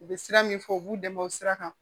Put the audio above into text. U bɛ sira min fɔ u b'u dɛmɛ o sira kan